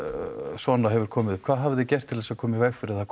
svona hefur komið upp hvað hafið þið gert til að koma í veg fyrir að það